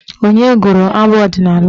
Onye gụrụ abụ ọdịnaala ahụ?